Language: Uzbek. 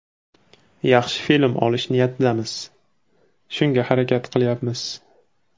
Yaxshi film olish niyatidamiz, shunga harakat qilyapmiz.